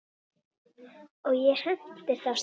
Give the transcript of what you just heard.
Og ég hentist af stað.